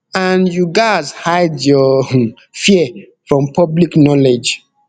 and you gatz hide your um fear from public knowledge